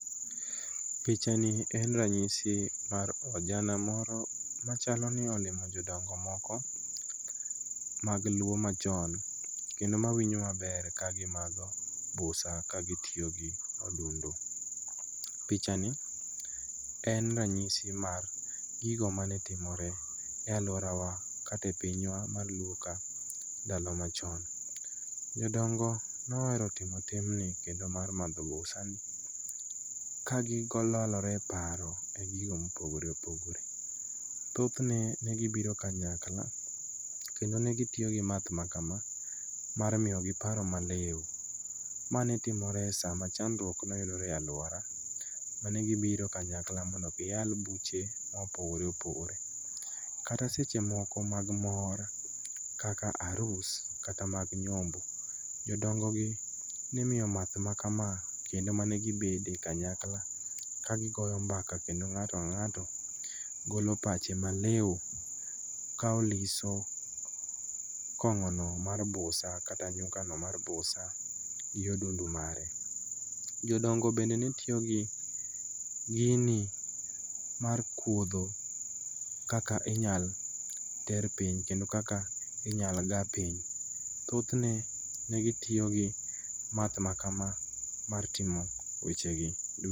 Picha ni en ranyisi mar ojana moro machaloni olimo jodongo moko mag luo machon kendo mawinjo maber kagimadho busa ka gitio gi odundu. Picha ni en ranyisi mar gigo manetimore e aluorawa kata e pinywa mar luo ka ndalo machon. Jodongo nohero timo timni kendo mar madho busani ka gilalore e paro e gigo mopogore opogore thothne negibiro kanykla kendo negitio gi math makama mar miyogi paro maliu. Ma netimore sama chandruok noyudore e aluorawa manegibiro kanyakla mondo giyal buche mopogore opogore kata sechemoko mag mor kaka arus kata mag nyombo. Jodongogi nimio math makama kendo manegibede kanyakla ka gigoyo mbaka kendo ng'ato ka ng'ato golo pache maliu ka oliso kong'ono mar busa kata nyukano mar busa gi odundo mare. Jodongo bende netio gi gini mar kuodho kaka inyal ter piny kendo kaka inyal gaa piny. Thothne negitiyogi math makamaa mar timo wechegi du.